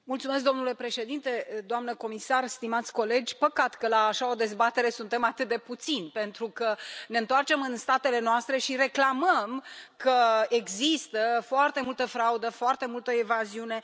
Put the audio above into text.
Domnule președinte, doamna comisar, stimați colegi, păcat că la așa o dezbatere suntem atât de puțini, pentru că ne întoarcem în statele noastre și reclamăm că există foarte multă fraudă, foarte multă evaziune.